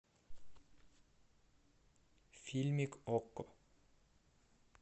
фильмик окко